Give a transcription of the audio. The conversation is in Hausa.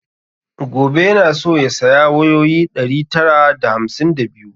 Gobe yana so ya saya wayoyi ɗari tara da hamsin da biyu